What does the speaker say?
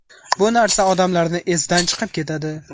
Bu narsa odamlarni esidan chiqib ketadi.